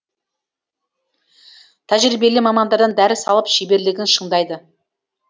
тәжірибелі мамандардан дәріс алып шеберлігін шыңдайды